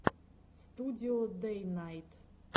студио дэйнайт